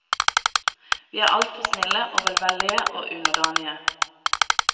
Vi er altfor snille og velvillige og underdanige.